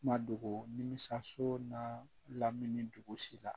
Ma dogo nimisi so n'a lamini dugusi la